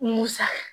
Musa